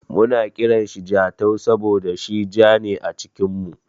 Muna kiranshi Jatau saboda shi ja ne a cikin mu.